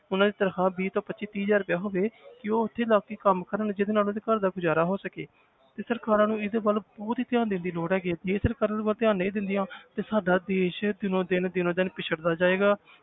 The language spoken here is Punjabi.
ਉਹਨਾਂ ਦੀ ਤਨਖ਼ਾਹਾਂ ਵੀਹ ਤੋਂ ਪੱਚੀ ਤੀਹ ਹਜ਼ਾਰ ਰੁਪਇਆ ਹੋਵੇ ਕਿ ਉਹ ਉੱਥੇ ਲੱਗ ਕੇ ਕੰਮ ਕਰਨ ਜਿਹਦੇ ਨਾਲ ਉਹਦੇ ਘਰ ਦਾ ਗੁਜ਼ਾਰਾ ਹੋ ਸਕੇ ਤੇ ਸਰਕਾਰਾਂ ਨੂੰ ਇਹਦੇ ਵੱਲ ਬਹੁਤ ਹੀ ਧਿਆਨ ਦੇਣ ਦੀ ਲੋੜ ਹੈਗੀ ਹੈ ਜੇ ਸਰਕਾਰਾਂ ਇਹਦੇ ਵੱਲ ਧਿਆਨ ਨਹੀਂ ਦਿੰਦੀਆਂ ਤੇ ਸਾਡਾ ਦੇਸ ਦਿਨੋਂ ਦਿਨ ਦਿਨੋਂ ਦਿਨ ਪਿੱਛੜਦਾ ਜਾਏਗਾ।